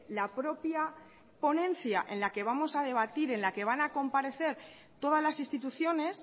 la propia ponencia en la que vamos a debatir en la que van a comparecer todas las instituciones